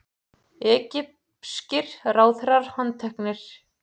Egypskir ráðherrar handteknir